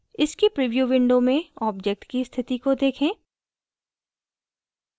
इसकी preview window में object की उपस्थिति को देखें